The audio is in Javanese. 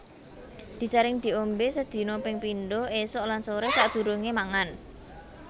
Disaring diombé sedina ping pindho ésuk lan soré sadurungé mangan